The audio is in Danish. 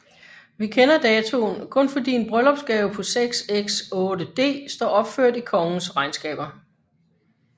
Vi kender datoen kun fordi en bryllupsgave på 6s 8d står opført i kongens regnskaber